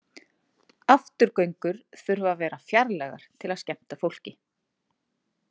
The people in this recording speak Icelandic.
Afturgöngur þurfa að vera fjarlægar til að skemmta fólki.